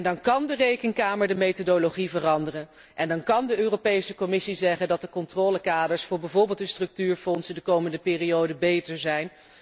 Dan kan de Rekenkamer de methodologie veranderen en dan kan de Europese Commissie zeggen dat de controlekaders voor bijvoorbeeld de structuurfondsen de komende periode beter zijn.